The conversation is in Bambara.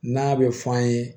N'a bɛ fɔ an ye